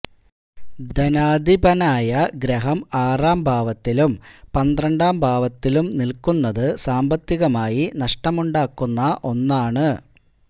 ധനാധിപനായ ഗ്രഹം ആറാംഭാവത്തിലും പന്ത്രണ്ടാം ഭാവത്തിലും നില്ക്കുന്നത് സാമ്പത്തികമായി നഷ്ടമുണ്ടാക്കുന്ന ഒന്നാണ്